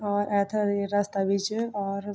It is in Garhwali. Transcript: और ऐथर ये रस्ता भी च और --